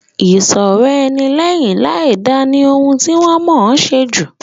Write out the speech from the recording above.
Ìṣọ̀rọ̀-ẹni lẹ́yìn láìda ni ohun ti wọ́n mọ̀ọ́ ṣe jù.